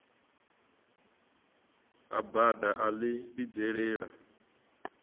ha bada a ḽi vhidzelela